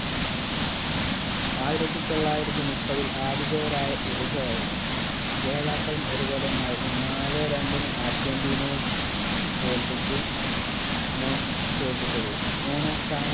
ആയിരത്തി തൊള്ളായിരത്തി മുപ്പതിൽ ആതിഥേയരായ ഉറുഗോ ആയിരുന്നു ജേതാക്കളും ഉറുഗോ തന്നെ ആയിരുന്നു നാലേ രണ്ടിന് അർജന്റീനയെ തോല്പിച്ച് മൂ തോല്പിച്ചത് മൂന്നാം സ്ഥാനം